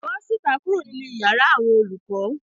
Bó síta kuro ninu iyàrá àwọn olùkọ.